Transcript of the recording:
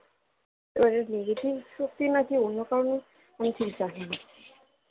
এবারে এটা negative শক্তি নাকি অন্য কারণে আমি ঠিক জানিনা